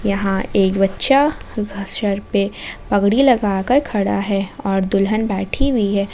यहां एक बच्चा सर पे पगड़ी लगाकर खड़ा है और दुल्हन बैठी हुई है।